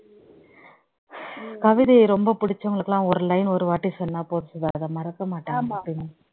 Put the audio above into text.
கவிதயை ரொம்ப பிடிச்சவங்களுக்கு எல்லாம் ஒரு line ஒரு வாட்டி சொன்னா போதும் அதை மறக்க மாட்டாங்க எப்பயுமே